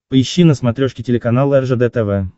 поищи на смотрешке телеканал ржд тв